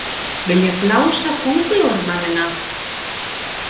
Vilja blása Kóngulóarmanninn af